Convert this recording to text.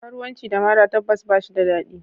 Karuwanci da mara tabbas ba shi da dadi.